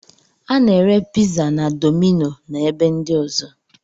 A na-ere piza na domino na ebe ndi ọzọ